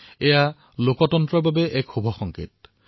এয়া ভাল কথা আৰু এয়া গণতন্ত্ৰৰ বাবেও শুভ সংকেত